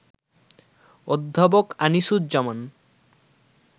অধ্যাপক আনিসুজ্জামান